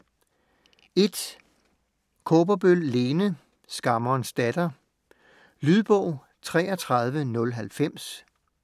Kaaberbøl, Lene: Skammerens datter Lydbog 33090